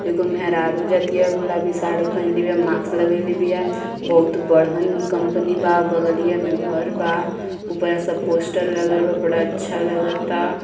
एगो मेहरारू जा तिया गुलाबी साड़ी पहिनले बिया। माक्स लगइले बिया। बहुत बड़हन कंपनी बा बगलिये मे घर बा। ऊपरा सब पोस्टर लगल बा। बड़ा अच्छा लगता।